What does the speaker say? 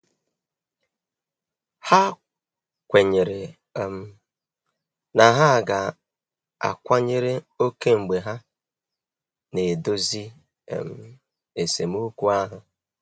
Ha kwenyere um na ha ga-akwanyere ókè mgbe ha na-edozi um esemokwu ahụ.